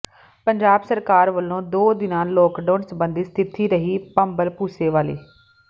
ਪੰਜਾਬ ਸਰਕਾਰ ਵੱਲੋਂ ਦੋ ਦਿਨਾਂ ਲਾਕਡਾਊਨ ਸਬੰਧੀ ਸਥਿਤੀ ਰਹੀ ਭੰਬਲਭੂਸੇ ਵਾਲੀ